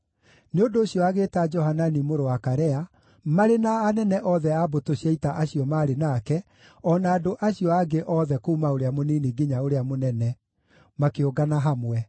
Nĩ ũndũ ũcio agĩĩta Johanani mũrũ wa Karea, marĩ na anene othe a mbũtũ cia ita acio maarĩ nake, o na andũ acio angĩ othe kuuma ũrĩa mũnini nginya ũrĩa mũnene, makĩũngana hamwe.